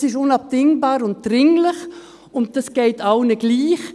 Das ist unabdingbar und dringlich, und das geht allen gleich: